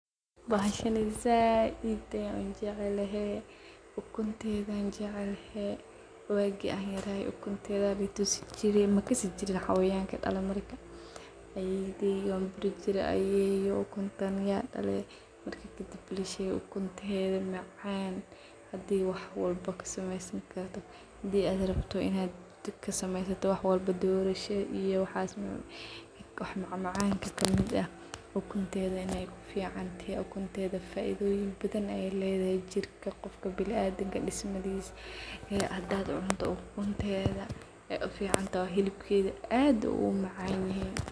Bahashani zaaid ayan uu jeclehe ukuntedhi jeclehe waagi ayaan yaraa ukuntedhi aa laitusiin jire makasi jiriin hayawanka kadalaan marka. Ayeyday aan kudihi jire ayeyo ukuntan yaa daale marki kaadib ukuntedhi macan hadii wax walba kasamesan karta hadii adh raabto inaa dub kasameyasto wax walba doorasho iyo wax macmacan kamiid eeh ukuntedha inaa ku ficantehe. Ukuntedha faaidhoyin badhan ayee ledhehe jirka qofka binadimka dismadhisa iyo hadii cunto ukuntedha aay uficantehe xilibkedha aad uu umacan yehe.